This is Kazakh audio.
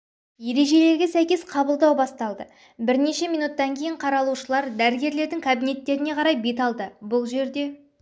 ережелерге сәйкес қабылдау басталды бірнеше минуттан кейін қаралушылар дәрігерлердің кабинеттеріне қарай бет алды бұл жерде